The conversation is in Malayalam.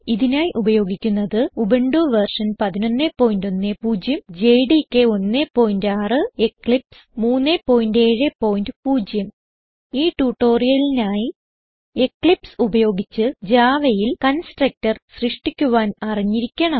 ഇതിനായി ഉപയോഗിക്കുന്നത് ഉബുന്റു വെർഷൻ 1110 ജെഡികെ 16 എക്ലിപ്സ് 370 ഈ ട്യൂട്ടോറിയലിനായി എക്ലിപ്സ് ഉപയോഗിച്ച് javaയിൽ കൺസ്ട്രക്ടർ സൃഷ്ടിക്കുവാൻ അറിഞ്ഞിരിക്കണം